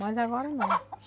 Mas agora não.